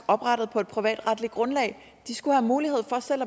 oprettet på et privatretligt grundlag de skulle have mulighed for selv